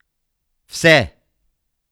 Vse!